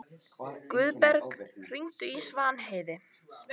Guðberg, hringdu í Svanheiði.